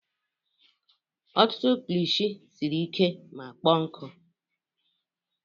Ọtụtụ kilishi siri ike ma kpọọ nkụ.